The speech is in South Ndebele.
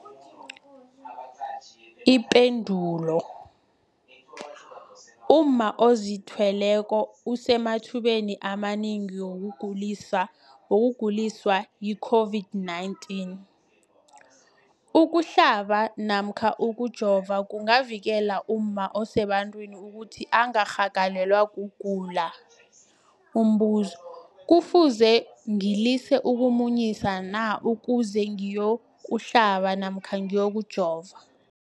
Ipendulo, umma ozithweleko usemathubeni amanengi wokuguliswa yi-COVID-19. Ukuhlaba namkha ukujova kungavikela umma osebantwini ukuthi angarhagalelwa kugula. Umbuzo, kufuze ngilise ukumunyisa na ukuze ngiyokuhlaba namkha ngiyokujova?